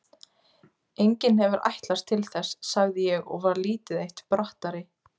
Enginn hefur ætlast til þess, sagði ég og var lítið eitt brattari.